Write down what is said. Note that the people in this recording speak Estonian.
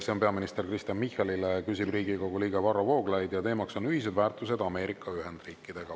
See on peaminister Kristen Michalile, küsib Riigikogu liige Varro Vooglaid ja teemaks on ühised väärtused Ameerika Ühendriikidega.